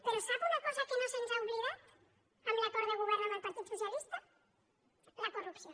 però sap una cosa que no se’ns ha oblidat en l’acord de govern amb el partit socialista la corrupció